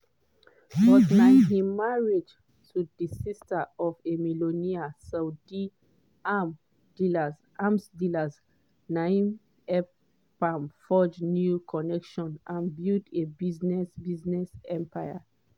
but na im marriage to di sister of a millionaire saudi arms dealer na in help am forge new connections and build a business business empire.